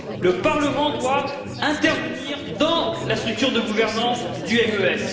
Le Parlement doit intervenir dans la structure de gouvernance du MES.